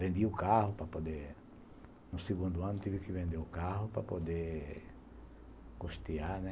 Vendi o carro para poder... No segundo ano tive que vender o carro para poder custear, né?